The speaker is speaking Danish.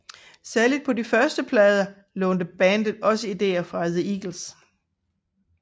Særligt på de første plader lånte bandet også ideer fra The Eagles